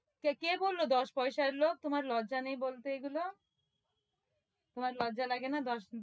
সে কে বলল দশ পয়সার লোক? তোমার লজ্জা নেই বলতে এগুলো? তোমার লজ্জা লাগে না দশ,